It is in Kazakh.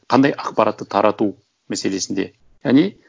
қандай ақпаратты тарату мәселесінде яғни